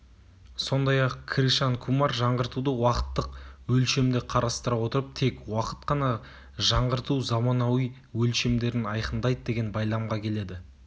сондай-ақ кришан кумар жаңғыртуды уақыттық өлшемде қарастыра отырып тек уақыт қана жаңғырту заманауи өлшемдерін айқындайды деген байламға келеді